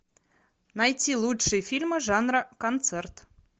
найти лучшие фильмы жанра концерт